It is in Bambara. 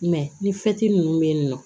ni nunnu be yen nɔ